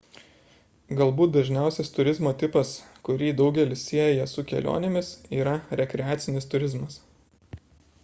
galbūt dažniausias turizmo tipas kurį daugelis sieja su kelionėmis yra rekreacinis turizmas